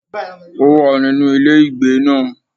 Ó wà nínú ilé ìgbé náà